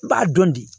N b'a dɔn bi